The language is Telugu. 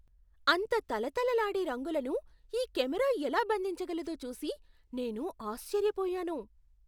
అంత తళతళలాడే రంగులను ఈ కెమెరా ఎలా బంధించగలదో చూసి నేను ఆశ్చర్యపోయాను!